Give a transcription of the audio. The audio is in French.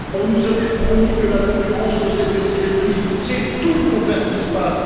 On nous avait promis que la concurrence ferait baisser les prix, c'est tout le contraire qui se passe.